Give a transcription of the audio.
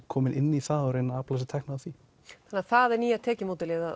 komin inn í það og reyna að afla sér tekna á því þannig það er nýja tekjuleiðin